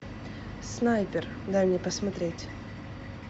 снайпер дай мне посмотреть